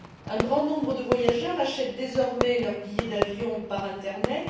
Un grand nombre de voyageurs achètent désormais leurs billets d'avion par l'internet.